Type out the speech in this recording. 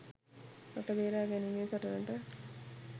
රට බේරා ගැනීමේ සටනට